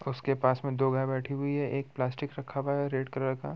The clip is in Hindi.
उसके पास में दो गाय बैठी हुई हैं एक प्लास्टिक रखा हुआ हैं रेड कलर का--